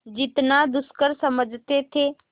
जितना दुष्कर समझते थे